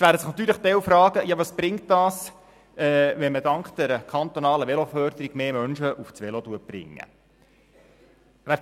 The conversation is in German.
Nun werden sich natürlich einige fragen, was es bringt, wenn man dank der kantonalen Veloförderung mehr Menschen auf das Velo bringt.